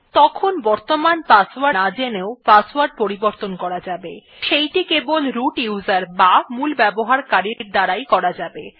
তখন বর্তমান পাসওয়ার্ড না জেনেও পাসওয়ার্ড পরিবর্তন করা যাবে সেইটি কেবল মূল ব্যবহারকারীর দ্বারা করা যাবে